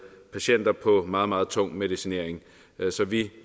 patienter på en meget meget tung medicinering vi